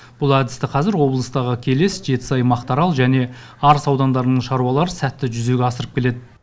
бұл әдісті қазір облыстағы келес жетісай мақтаарал және арыс аудандарының шаруалары сәтті жүзеге асырып келеді